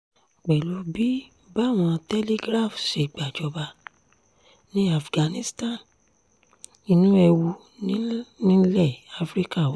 pẹ̀lú bí báwọn telegraph ṣe gbàjọba ní afghanistan inú ewu nílẹ̀ afrika wà